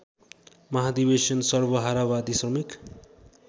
महाधिवेशन सर्वहारावादी श्रमिक